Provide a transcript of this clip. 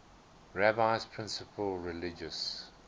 rabbi's principal religious